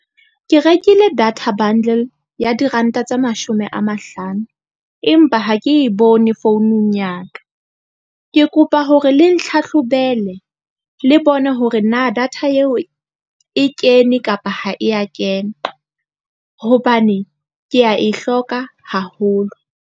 Ke rekile data bundle ya diranta tse mashome a mahlano. Empa ha ke bone founung ya ka, ke kopa hore le ntlhatlhobele, le bone hore na data eo e kene kapa ha e a kena. Hobane ke a e hloka haholo.